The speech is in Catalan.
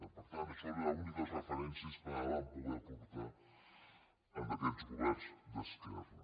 per tant això eren les úniques referències que van poder aportar aquests governs d’esquerra